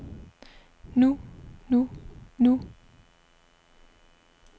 nu nu nu